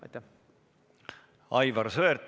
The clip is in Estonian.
Aivar Sõerd, palun!